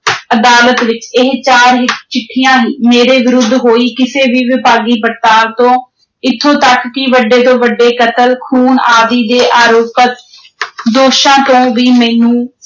ਅਦਾਲਤ ਵਿਚ ਇਹ ਚਾਰ ਚਿੱਠੀਆਂ ਹੀ, ਮੇਰੇ ਵਿਰੁੱਧ ਹੋਈ ਕਿਸੇ ਵੀ ਵਿਭਾਗੀ ਪੜਤਾਲ ਤੋਂ, ਇਥੋਂ ਤਕ ਕਿ ਵੱਡੇ ਤੋਂ ਵੱਡੇ ਕਤਲ, ਖੂਨ ਆਦਿ ਦੇ ਆਰੋਪਤ ਦੋਸ਼ਾਂ ਤੋਂ ਵੀ ਮੈਨੂੰ